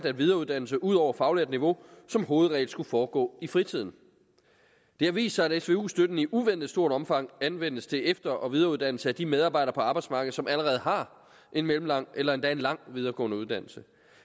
at videreuddannelse ud over faglært niveau som hovedregel skulle foregå i fritiden det har vist sig at svu støtten i uventet stort omfang anvendes til efter og videreuddannelse af de medarbejdere på arbejdsmarkedet som allerede har en mellemlang eller endda en lang videregående uddannelse